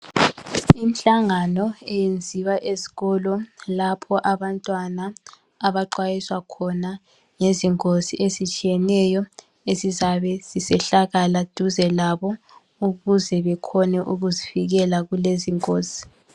Imihlangano eyenziwa ezitolo lapho abantwana abaxwayiswa khona ngezingozi ezitshiyeneyo ezizabe zisehlakala duze labo ukuze bekhone ukuzivikela kulezi ingozi.